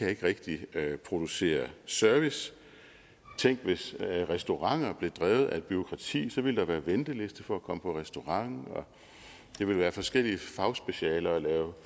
ikke rigtig kan producere service tænk hvis restauranter blev drevet af et bureaukrati så ville der være en venteliste for at komme på restaurant og det ville være forskellige fagspecialer at lave